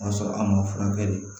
O y'a sɔrɔ an ma furakɛli